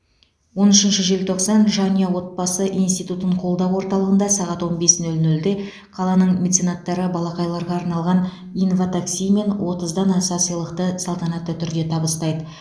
он үшінші желтоқсан жанұя отбасы институтын қолдау орталығында сағат он бес нөл нөлде қаланың меценаттары балақайларға арналған инватакси мен отыздан аса сыйлықты салтанатты түрде табыстайды